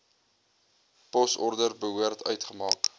posorders behoort uitgemaak